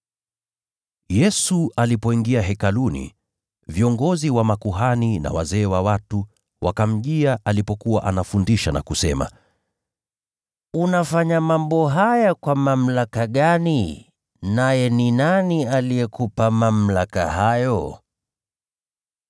Yesu alipoingia Hekaluni, viongozi wa makuhani na wazee wa watu wakamjia alipokuwa anafundisha na kusema, “Unafanya mambo haya kwa mamlaka gani? Na ni nani aliyekupa mamlaka hayo?”